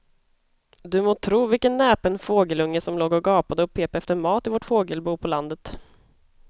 Du må tro vilken näpen fågelunge som låg och gapade och pep efter mat i vårt fågelbo på landet.